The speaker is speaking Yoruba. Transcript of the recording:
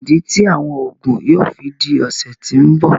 Kíni idí tí awọn oogun yóò fí dí ọsẹ tí n bọ?